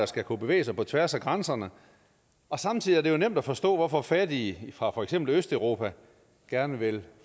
skal kunne bevæge sig på tværs af grænserne og samtidig er det nemt at forstå hvorfor fattige fra for eksempel østeuropa gerne vil